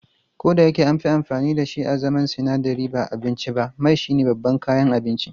Kodayake anfi amfani dashi a zaman sinadari ba abinci ba, mai shine babban kayan abinci.